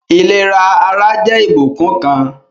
Ìlera ara jẹ́ ìbùkún kan